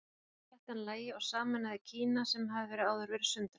þá sætti hann lagi og sameinaði kína sem hafði áður verið sundrað